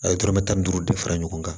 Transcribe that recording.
A ye dɔrɔmɛ tan duuru de fara ɲɔgɔn kan